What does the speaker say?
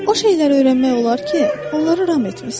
O şeyləri öyrənmək olar ki, onları ram etmisən.